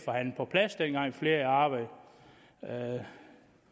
flere